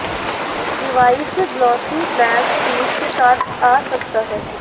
device glossy black finish के साथ आ सकता है